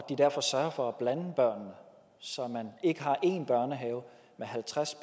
derfor sørger for at blande børnene så man ikke har en børnehave med halvtreds